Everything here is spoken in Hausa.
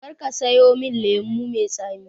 Karka sayo min lemo mai tsami